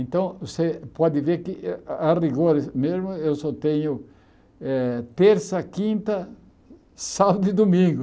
Então, você pode ver que eh, a a rigor mesmo, eu só tenho eh terça, quinta, sábado e domingo.